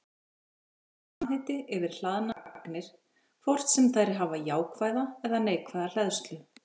Þetta er samheiti yfir hlaðnar agnir, hvort sem þær hafa jákvæða eða neikvæða hleðslu.